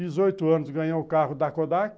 Dezoito anos ganhou o carro da Kodak.